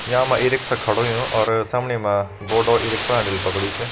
या मा e rickshaw खड़ु होयुं और समनि मा बोर्ड ई रिक्शा हैंडल पकड़यूं च।